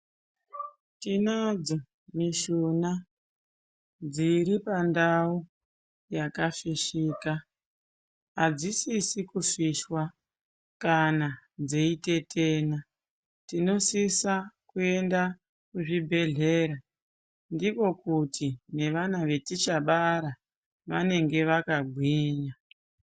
Tinadzo mishuna dziripandau yakafishika, adzisisi kufishwa kana dzeitetena tinosisa kuenda kuzvibhehlera ndiko kuti nevana vatichabara vanenge vakagwinya.